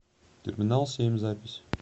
терминал семь запись